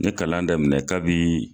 N ye kalan daminɛ ka bi